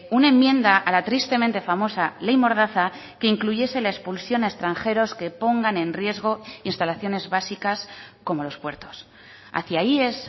una enmienda a la tristemente famosa ley mordaza que incluyese la expulsión a extranjeros que pongan en riesgo instalaciones básicas como los puertos hacia ahí es